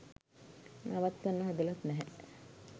නවත්වන්න හදලත් නැහැ